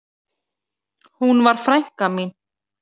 Hún var frænka mín.